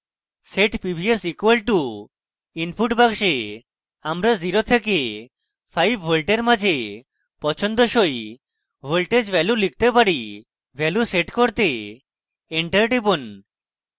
set pvs = input box আমরা 0 থেকে 5v in মাঝে পছন্দসই voltage value লিখতে পারি value set করতে enter টিপুন